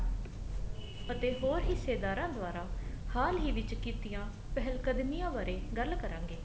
ਅਤੇ ਹੋਰ ਹਿੱਸੇਦਾਰਾ ਦੁਆਰਾ ਹਾਲ ਹੀ ਵਿੱਚ ਕੀਤੀਆਂ ਪਹਿਲ ਕਰਮੀਆਂ ਬਾਰੇ ਗੱਲ ਕਰਾਂਗੇ